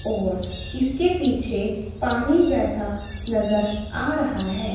और इसके पीछे पानी जैसा नजर आ रहा है।